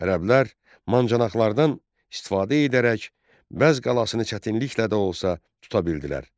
Ərəblər mancınıqlardan istifadə edərək Bəzz qalasını çətinliklə də olsa tuta bildilər.